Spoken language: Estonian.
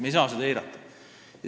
Me ei saa seda eirata.